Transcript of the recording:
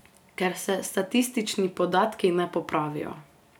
Ker se statistični podatki ne popravijo.